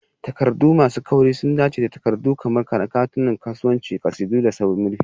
Takardu masu kauri sun dace da takardu kamar katunan kasuwanci, ƙasidu, da murfi.